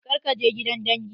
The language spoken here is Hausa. Kar ka je gidan dangi!